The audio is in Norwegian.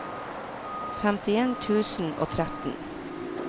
femtien tusen og tretten